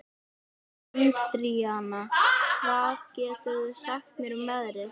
Andríana, hvað geturðu sagt mér um veðrið?